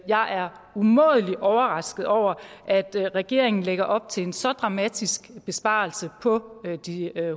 jeg er umådelig overrasket over at regeringen lægger op til en så dramatisk besparelse på de